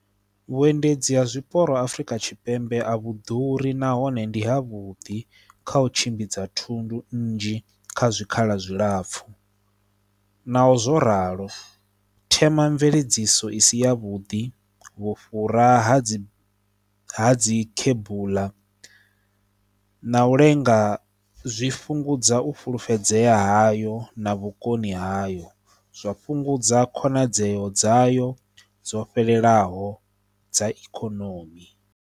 Vhuendedzi ha zwiporo Afrika Tshipembe a vhu ḓuri nahone ndi ha vhudi kha u tshimbidza thundu nnzhi kha zwikhala zwilapfhu naho zwo ralo themamveledziso i si yavhuḓi, vhufhura ha dzi ha dzi kubuḽa na u lenga zwi fhungudza u fulufhedzea hayo na vhukoni hayo. Zwa fhungudza khonadzeo dzayo dzo fhelelaho dza ikonomi.